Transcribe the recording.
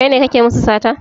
Kai ne kake musu sata?